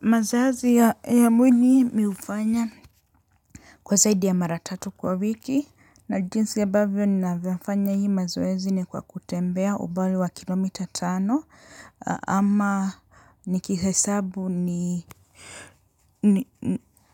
Mazazi ya ya mwili mi hufanya, kwa zaidi ya mara tatu kwa wiki na jinsi ambavyo ninavyofanya hii mazoezi ni kwa kutembea ubali wa kilomita tano ama nikihesa